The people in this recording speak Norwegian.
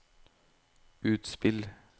utspill